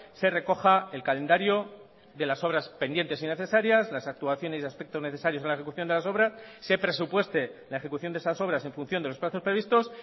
se recoja el calendario de las obras pendientes y necesarias las actuaciones y aspectos necesarios en la ejecución de las obras se presupueste la ejecución de esas obras en función de los plazos previstos